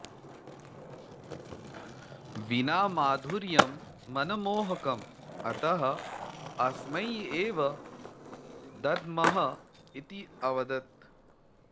वीणामाधुर्यं मनमोहकम् अतः अस्मै एव दद्मः इति अवदत्